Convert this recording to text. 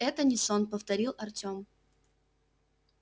это не сон повторил артём